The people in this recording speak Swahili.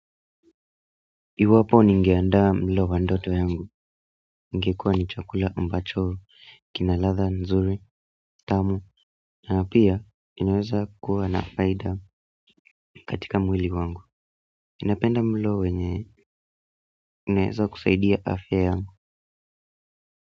Iwapo ningeandaa mlo wa ndoto yangu ingekuwa ni chakula ambacho, kina ladha nzuri, tamu, na pia inaweza kuwa na faida katika mwili wangu. Napenda mlo wenye inaweza kusaidia afya yangu.